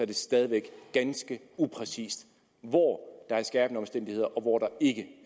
det stadig væk ganske upræcist hvor der er skærpende omstændigheder og hvor der ikke